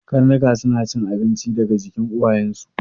Karnuka suna cin abinci daga jikin uwayen su